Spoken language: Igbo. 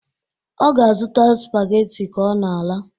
Ọ ga-azụta spaghetti ka ọ na-ala